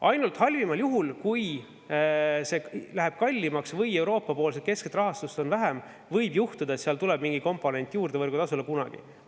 Ainult halvimal juhul, kui see läheb kallimaks või Euroopa keskset rahastust on vähem, võib juhtuda, et seal tuleb mingi komponent võrgutasule kunagi juurde.